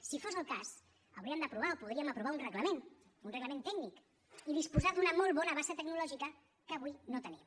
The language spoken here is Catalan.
si fos el cas hauríem d’aprovar o podríem aprovar un reglament un reglament tècnic i disposar d’una molt bona base tecnològica que avui no tenim